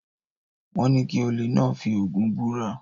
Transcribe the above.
Wọ́n ní kí olè náà fi Ògún búra?